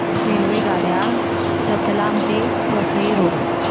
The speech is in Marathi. रेल्वेगाड्या रतलाम ते वसई रोड